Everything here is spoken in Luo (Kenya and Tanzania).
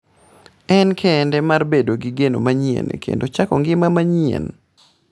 En kinde mar bedo gi geno manyien kendo chako ngima manyien.